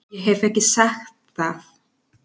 Ég hef ekki sagt það!